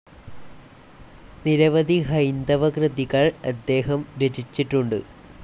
നിരവധി ഹൈന്ദവ കൃതികൾ അദ്ദേഹം രചിച്ചിട്ടുണ്ട്.